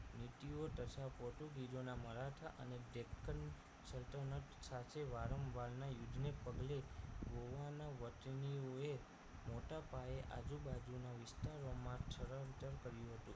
નીતિઓ તથા પોર્ટુગીઝો ના મરાઠા અને ત્રેપન સલ્તનત સાથે વારંવારના યુદ્ધ ને પગલે ગોવાના વતનીઓએ મોટા પાયે આજુબાજુના વિસ્તારોમાં સ્થળાંતર કર્યું હતું